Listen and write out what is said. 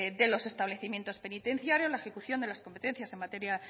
de los establecimientos penitenciarios la ejecución de las competencias en materia